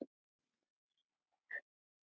himnum í frá